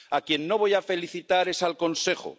A quien no voy a felicitar es al Consejo.